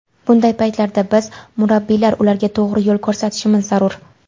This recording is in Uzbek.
Bunday paytlarda biz murabbiylar ularga to‘g‘ri yo‘l ko‘rsatishimiz zarur.